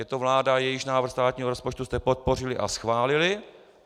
Je to vláda, jejíž návrh státního rozpočtu jste podpořili a schválili.